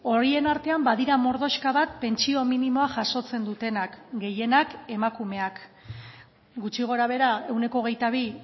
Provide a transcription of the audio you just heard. horien artean badira mordoxka bat pentsio minimoa jasotzen dutenak gehienak emakumeak gutxi gora behera ehuneko hogeita bi